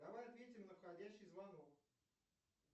давай ответим на входящий звонок